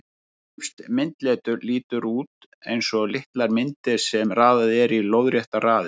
Egypskt myndletur lítur út eins og litlar myndir sem raðað er í lóðréttar raðir.